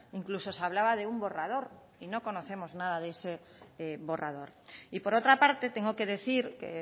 incluso se hablaba de un borrador y no conocemos nada de ese borrador y por otra parte tengo que decir que